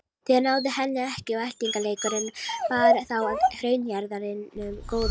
Þeir náðu henni ekki og eltingaleikurinn bar þá að hraunjaðrinum góða.